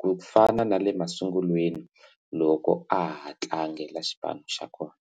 ku fana na le masungulweni loko a ha tlangela xipano xa kona.